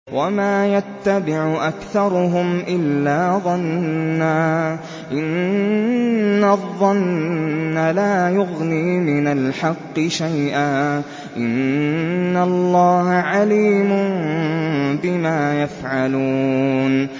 وَمَا يَتَّبِعُ أَكْثَرُهُمْ إِلَّا ظَنًّا ۚ إِنَّ الظَّنَّ لَا يُغْنِي مِنَ الْحَقِّ شَيْئًا ۚ إِنَّ اللَّهَ عَلِيمٌ بِمَا يَفْعَلُونَ